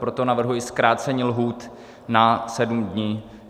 Proto navrhuji zkrácení lhůty na sedm dní.